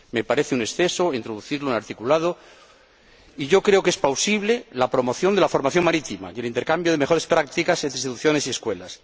me parece un exceso introducirlo en el articulado. Y yo creo que es plausible la promoción de la formación marítima y el intercambio de mejores prácticas entre instituciones y escuelas.